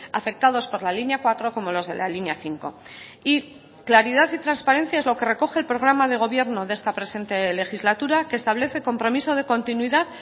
afectados por la línea cuatro como los de la línea cinco y claridad y transparencia es lo que recoge el programa de gobierno de esta presente legislatura que establece compromiso de continuidad